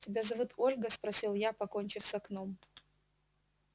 тебя зовут ольга спросил я покончив с окном